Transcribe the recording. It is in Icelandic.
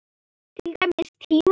Til dæmis tíma.